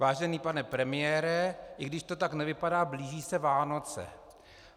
Vážený pane premiére, i když to tak nevypadá, blíží se Vánoce.